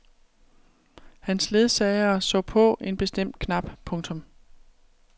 Hans ledsagere så på en bestemt knap. punktum